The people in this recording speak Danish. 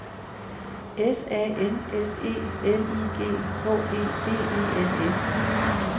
S A N S E L I G H E D E N S